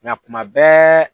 Nka kuma bɛɛɛɛ.